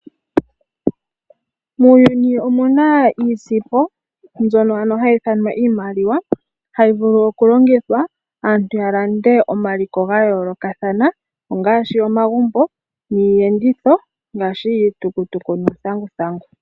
Muuyuni omuna iisimpo mbyono ano hayi i thanwa iimaliwa, hayi vulu oku longithwa aantu ya lande omaliko gayoolokathana ongaashi omagumbo niiyenditho ngaashi iitukutuku niithanguthandu.